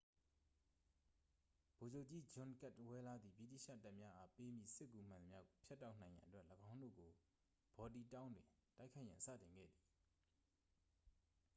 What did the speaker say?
ဗိုလ်ချုပ်ကြီး ဂျွန်ကဒ်ဝဲလား သည် ဗြိတိသျှတပ်များအား ပေးမည့် စစ်ကူမှန်သမျှကို ဖြတ်တောက်နိုင်ရန်အတွက် ၎င်းတို့ကို ဘော်တီတောင်းတွင် တိုက်ခိုက်ရန်စတင်ခဲ့သည်